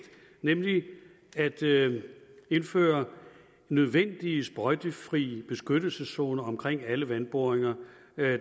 nemlig at indføre nødvendige sprøjtefrie beskyttelseszoner omkring alle vandboringer